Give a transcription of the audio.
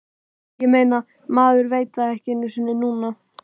Ég meina, maður veit það ekki einu sinni núna.